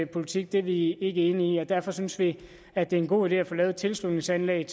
politik er vi ikke enige i og derfor synes vi det er en god idé at få lavet et tilslutningsanlæg